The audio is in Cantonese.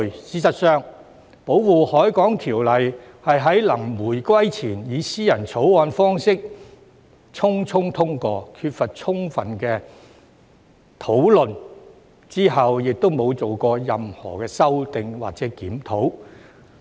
事實上，《保護海港條例》是在臨回歸前以私人條例草案方式匆匆通過，缺乏充分討論，之後亦沒有進行任何修訂或檢討。